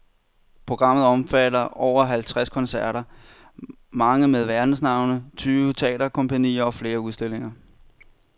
Programmet omfatter over halvtreds koncerter, mange med verdensnavne, tyve teaterkompagnier og flere udstillinger.